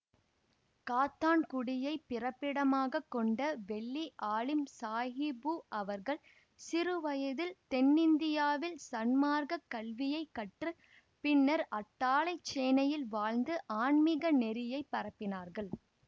காத்தான்குடியைப் பிறப்பிடமாக கொண்ட வெள்ளி ஆலிம் சாஹிபு அவர்கள் சிறுவயதில் தென்னிந்தியாவில் சன்மார்க்கக் கல்வியை கற்று பின்னர் அட்டாளைச்சேனையில் வாழ்ந்து ஆன்மீக நெறியை பரப்பினார்கள்